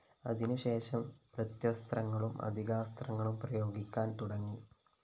അതിനുശേഷം പ്രത്യസ്ത്രങ്ങളും അതികാസ്ത്രങ്ങളും പ്രയോഗിക്കാന്‍ തുടങ്ങി